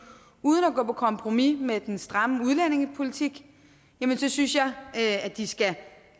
uden at gå på kompromis med den stramme udlændingepolitik så synes jeg at de skal